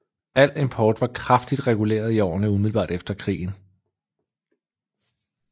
Al import var kraftigt reguleret i årene umiddelbart efter krigen